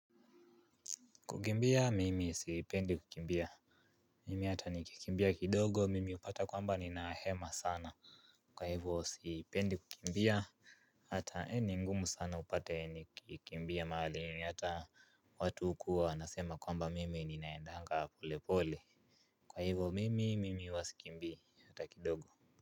Kumbia mimi sipendi kukimbia mimi ata nikikimbia kidogo mimi hupata kwamba ninahema sana watu uku wanasema kwamba mimi ninaendanga pole pole. Kwa hivyo mimi mimi huwa sikimbia hata kidogo.